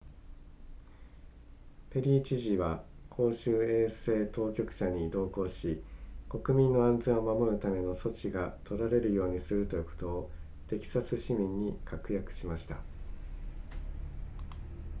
ペリー知事は公衆衛生当局者に同行し国民の安全を守るための措置が取られるようにすることをテキサス市民に確約しました